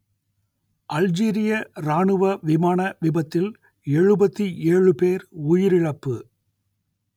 அல்ஜீரிய ராணுவ விமான விபத்தில் எழுபத்தி ஏழு பேர் உயிரிழப்பு